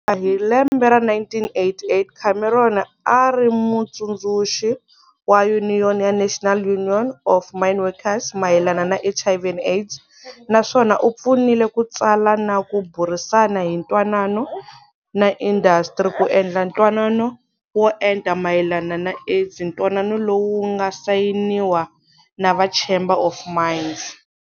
Hi lembe ra 1988 Cameron a a ri mutsundzuxi wa yuniyoni ya National Union of Mineworkers mayelana na HIV and AIDS, na swona u pfunile ku tsala na ku burisana hi ntwanano na indastri ku endla ntwanano wo enta mayelana na AIDS ntwanano lowu wu nga sayiniwa na va Chamber of Mines.